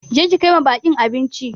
Je ki kai ma baƙi abinci!